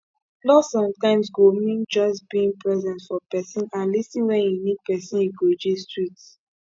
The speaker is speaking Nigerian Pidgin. love sometimes go mean just being present for pesin and lis ten when e need pesin e go gist with